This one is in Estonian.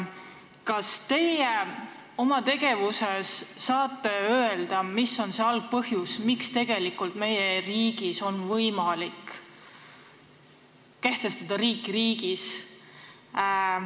Kas teie oma tegevuse põhjal saate öelda, mis on see algpõhjus, miks tegelikult meie riigis on võimalik kehtestada riiki riigis?